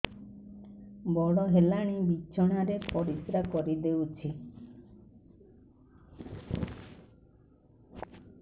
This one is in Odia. ବଡ଼ ହେଲାଣି ବିଛଣା ରେ ପରିସ୍ରା କରିଦେଉଛି